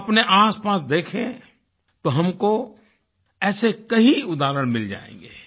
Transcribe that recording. हम अपने आसपास देखें तो हमको ऐसे कई उदाहरण मिल जाएँगे